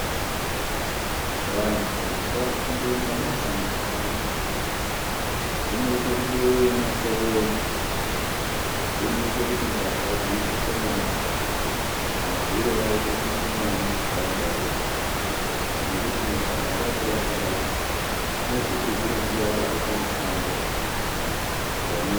Vantu ngavafundire mabasa mumakanyi umu. Zvinoite kubeure masoro edu; zvinoite kuti mbavha dziite shomani; mahure aite mashomani munharaunda dzeshe. Nekuti munhu akanga anebasa rake, unozopedzere nguwa yake pamushando panee.